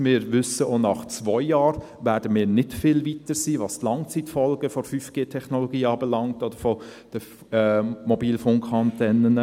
Wir wissen: Auch nach zwei Jahren werden wir nicht viel weiter sein, was die Langzeitfolgen der 5G-Technologie oder der Mobilfunkantennen anbelangt.